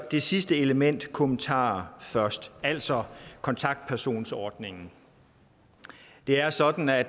det sidste element kommentarer først altså kontaktpersonsordningen det er sådan at